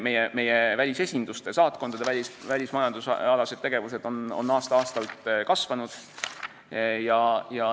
Meie välisesinduste, saatkondade välismajandusalane tegevus on aasta-aastalt kasvanud.